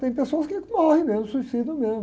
Tem pessoas que morrem mesmo, se suicidam mesmo.